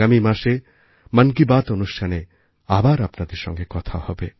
আগামী মাসে মন কি বাতঅনুষ্ঠানে আবার আপনাদের সঙ্গে কথা হবে